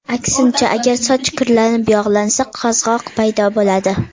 Aksincha, agar soch kirlanib, yog‘lansa, qazg‘oq paydo bo‘ladi.